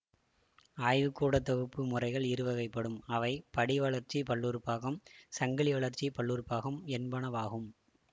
ஆய்வுகூடத் தொகுப்பு முறைகள் இரு வகைப்படும் அவை படி வளர்ச்சி பல்லுறு பாகம் சங்கிலி வளர்ச்சி பல்லுறு பாகம் என்பனவாகும்